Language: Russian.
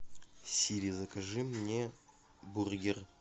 сири закажи мне бургер